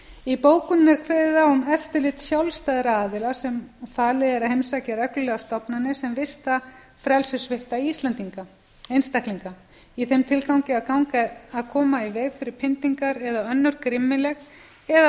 í bókuninni er kveðið á um eftirlit sjálfstæðra aðila sem falið er að heimsækja reglulega stofnanir sem vista frelsissvipta einstaklinga í þeim tilgangi að koma í veg fyrir pyndingar eða önnur grimmileg eða